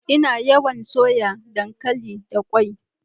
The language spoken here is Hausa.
Ina yawan soya dankali da ƙwai.